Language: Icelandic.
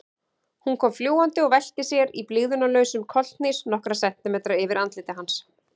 Hún kom fljúgandi og velti sér í blygðunarlausum kollhnís nokkra sentimetra yfir andliti hans.